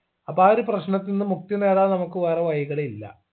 അപ്പോ ആ ഒരു പ്രശ്നത്തിന്ന് മുക്തി നേടാൻ നമുക്ക് വേറെ വഴികളില്ല